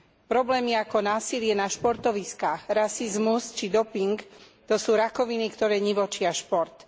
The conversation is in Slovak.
Problémy ako násilie na športoviskách, rasizmus či doping to sú rakoviny, ktoré nivočia šport.